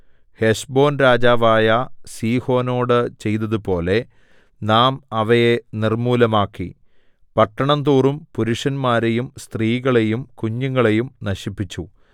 Heshbon രാജാവായ സീഹോനോട് ചെയ്തതുപോലെ നാം അവയെ നിർമ്മൂലമാക്കി പട്ടണം തോറും പുരുഷന്മാരെയും സ്ത്രീകളെയും കുഞ്ഞുങ്ങളെയും നശിപ്പിച്ചു